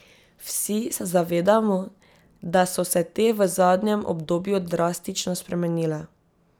Vsi se zavedamo, da so se te v zadnjem obdobju drastično spremenile.